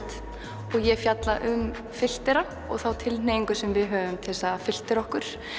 og ég fjalla um filtera og þá tilhneigingu sem við höfum til að filtera okkur